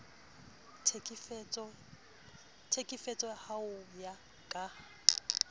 tlhekefetso ao ho ya ka